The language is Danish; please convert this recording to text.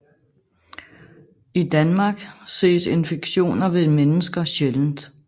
I Danmark ses infektioner ved mennesker sjældent